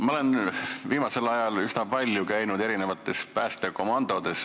Ma olen viimasel ajal üsna palju päästekomandodes käinud.